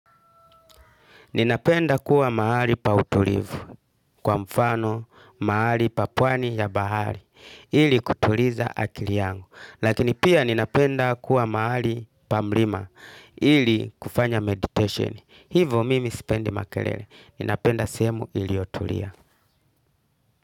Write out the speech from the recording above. Ninapenda kuwa mahali pa utulivu kwa mfano mahali pa pwani ya bahari ili kutuliza akili yangu. Lakini pia ninapenda kuwa mahali pa mlima ili kufanya meditation. Hivo mimi sipendi makelele. Ninapenda sehemu iliyotulia.